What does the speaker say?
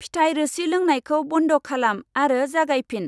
फिथाइ रोसि लोंनायखौ बन्द खालाम आरो जागायफिन।